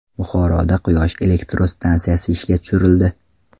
Buxoroda quyosh elektr stansiyasi ishga tushirildi .